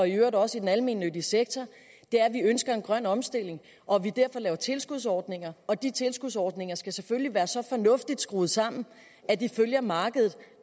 i øvrigt også i den almennyttige sektor er at vi ønsker en grøn omstilling og at vi derfor laver tilskudsordninger og de tilskudsordninger skal selvfølgelig være så fornuftigt skruet sammen at de følger markedet